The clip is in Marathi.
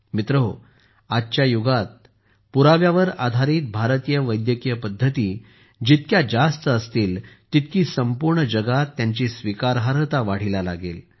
मित्रहो आजच्या युगात पुराव्यावर आधारित भारतीय वैद्यकीय पद्धती जितक्या जास्त असतील तितकी संपूर्ण जगात त्यांची स्वीकारार्हता वाढीला लागेल